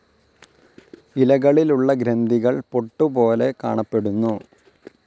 ഇലകളിലുള്ള ഗ്രന്ഥികൾ പൊട്ടുപോലെ കാണപ്പെടുന്നു.